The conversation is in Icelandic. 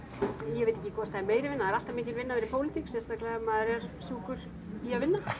ég veit ekki hvort það er meiri vinna það er alltaf mikil vinna að vera í pólitík sérstaklega ef maður er sjúkur í að vinna